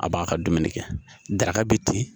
A b'a ka dumuni kɛ daraka bi ten